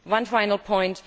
One final point.